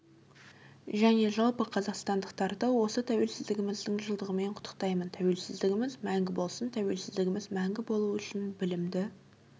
және жалпы қазақстандықтарды осы тәуелсіздігіміздің жылдығымен құттықтаймын тәуелсіздігіміз мәңгі болсын тәуелсіздігіміз мәңгі болуы үшін білімді